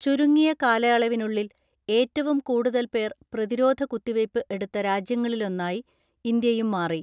ചുരുങ്ങിയ കാലയളവിനുള്ളിൽ ഏറ്റവും കൂടുതൽ പേർ പ്രതിരോധ കുത്തിവയ്പ് എടുത്ത രാജ്യങ്ങളിലൊന്നായി ഇന്ത്യയും മാറി.